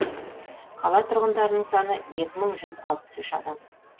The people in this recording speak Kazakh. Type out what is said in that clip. қала тұрғындарының саны екі мың жүз алпыс үш адамды құрайды